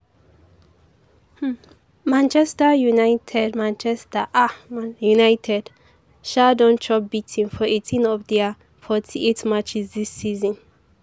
um manchester united manchester um united um don chop beating for eighteen of dia forty eight matches dis season.